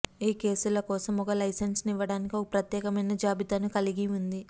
ఈ కేసుల కోసం ఒక లైసెన్సు ఇవ్వటానికి ఒక ప్రత్యేకమైన జాబితాను కలిగి ఉంది